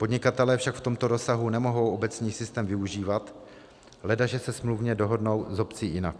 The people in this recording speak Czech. Podnikatelé však v tomto rozsahu nemohou obecní systém využívat, ledaže se smluvně dohodnou s obcí jinak.